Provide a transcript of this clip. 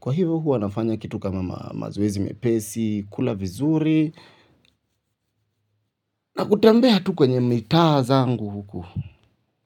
Kwa hivyo huo anafanya kitu kama mazoezi mepesi, kula vizuri, na kutembea tu kwenye mitaa zangu huku.